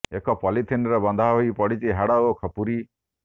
ଏକ ପଲିଥିନ୍ରେ ବନ୍ଧା ହୋଇ ପଡ଼ିଛି ହାଡ଼ ଓ ଖପୁରି